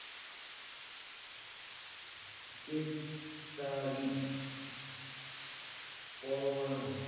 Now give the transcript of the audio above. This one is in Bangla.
গ্রেফতারি পরোয়ানা